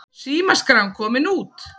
Símaskráin komin út